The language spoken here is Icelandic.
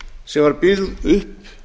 sem var byggð upp